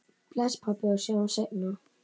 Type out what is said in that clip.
Bless, pabbi, og sjáumst seinna.